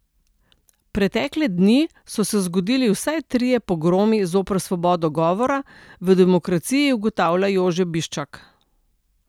Pretekle dni so se zgodili vsaj trije pogromi zoper svobodo govora, v Demokraciji ugotavlja Jože Biščak.